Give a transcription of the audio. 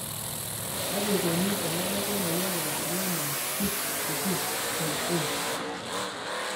Kaji eikoni tenebaki emoyian e Niemann Pick disease type A?